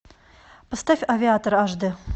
поставь авиатор аш дэ